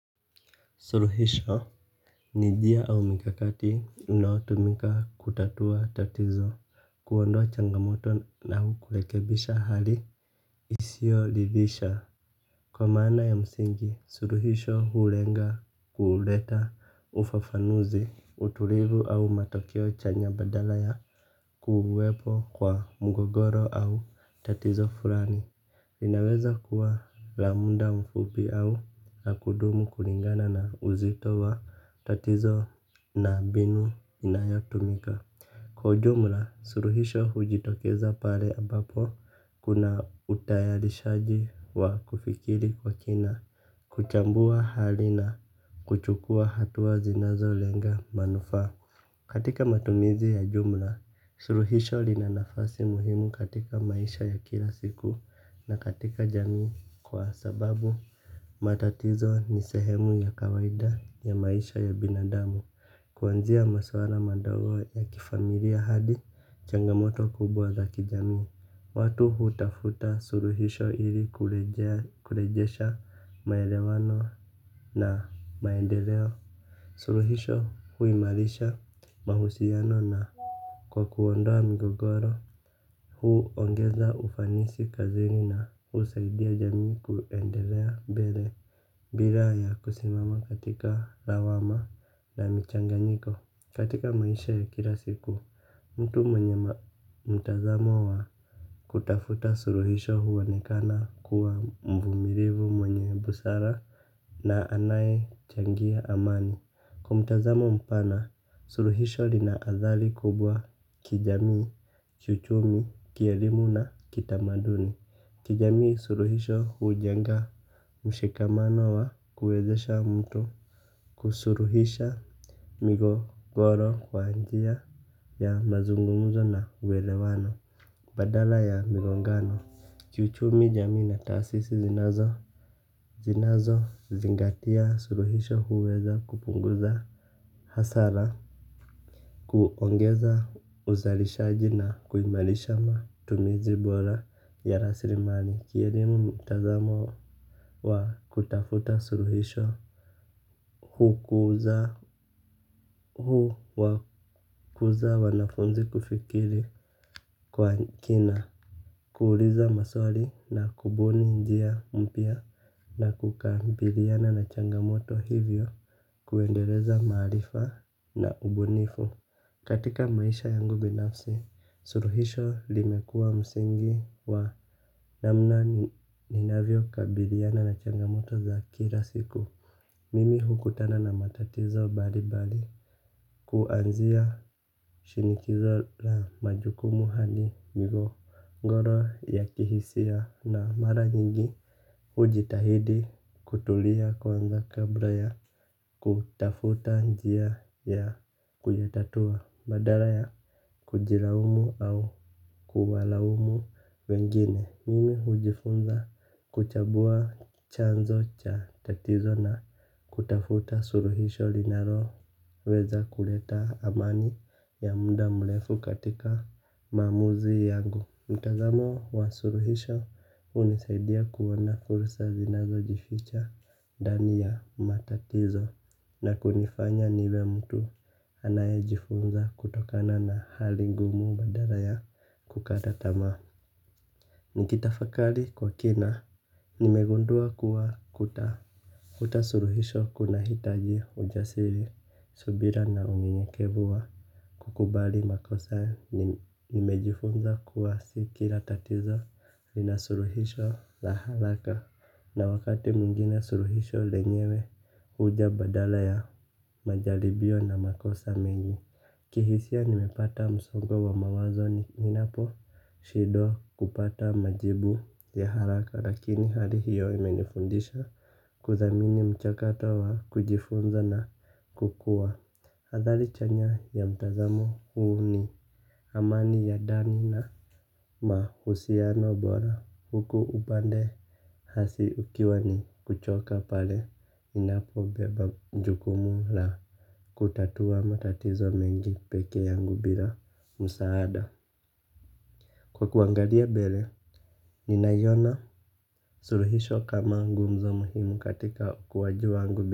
Suruhisho. Nijia au mikakati na unaotumika kutatua tatizo kuondoa changamoto na ukurekebisha hali isio ridhisha. Kwa maana ya msingi suruhisho hulenga kuuleta ufafanuzi utulivu au matokeo chanya badala ya kuwepo kwa mgogoro au tatizo furani. Linaweza kuwa lamuda mfupi au la kudumu kulingana na uzito wa tatizo na mbinu inayatumika. Kwa jumla, suruhisho hujitokeza pale ambapo kuna utayarishaji wa kufikiri kwa kina. Kuchambua hali na kuchukua hatuwa zinazo lenga manufaa. Katika matumizi ya jumla, suruhisho linanafasi muhimu katika maisha ya kila siku na katika jamii kwa sababu matatizo nisehemu ya kawaida ya maisha ya binadamu kuanzia maswala madago ya kifamilia hadi changamoto kubwa za kijami. Watu hutafuta suruhisho ili kulejesha maelewano na maendeleo. Suruhisho huimarisha mahusiano na kwa kuondoa mgogoro. Hu ongeza ufanisi kazini na usaidia jamii kuendelea mbele bila ya kusimama katika lawama na michanganyiko katika maisha ya kila siku mtu mwenye mtazamo wa kutafuta suruhisho huoenekana kuwa mvumilivu mwenye busara na anaye changia amani. Kwa mtazamo mpana, suruhisho lina athari kubwa kijamii, kiuchumi, kielimu na kitamaduni. Kijami suruhisho hujenga mshikamano wa kuwezesha mtu kusuruhisha migogoro kwanjia ya mazungumzo na uwelewano badala ya migongano, kiuchumi jamii na taasisi zinazozingatia suluhisho huweza kupunguza hasara. Kuongeza uzalishaji na kuimalisha matumizi bora ya rasirimali kielimu mtazamo wa kutafuta suruhisho. Hukuza huwakuza wanafunzi kufikiri kwa kina. Kuuliza maswali na kubuni njia mpya na kukabiliana na changamoto hivyo kuendeleza maarifa na ubunifu. Katika maisha yangu binafsi suruhisho limekua msingi wa namna ninavyo kabiliana na changamoto za kila siku. Mimi hukutana na matatizo bali bali kuanzia shinikizo la majukumu hadi migogoro ya kihisia na mara nyingi ujitahidi kutulia kwanza kabla ya kutafuta njia ya kuyatatua badara ya kujilaumu au kuwalaumu wengine. Nini ujifunza kuchambua chanzo cha tatizo na kutafuta suruhisho linalo weza kuleta amani ya muda mrefu katika maamuzi yangu. Mtazamo wa suruhisho unisaidia kuona fursa zinazo jificha ndani ya matatizo na kunifanya niwe mtu anaye jifunza kutokana na hali ngumu badala ya kukata tamaa. Nikita fakali kwa kina, nimegundua kuwa kutafuta suruhisho kuna hitaji ujasiri subira na unyenyekevu wa kukubali makosa nimejifunza kuwa sikila tatizo lina suruhisho la haraka na wakati mwingine suruhisho lenyewe uja badala ya majalibio na makosa mengi kihisia ninapata msongo wa mawazo ninaposhindwa kupata majibu ya haraka lakin hali hiyo imenifundisha kudhamini mchakato wa kujifunza na kukua. Hazali chanya ya mtazamo huu ni amani ya ndani na kwa uhusiano bora huku upande hasi ikiwa ni kuchoka pale unapo bebajukumu la kubeba matatizo mengi peke yangu bila msaada kwa kuangalia mbele ninaiyona suluhisho kama nguzo muhimu katika ukuwaji wangu.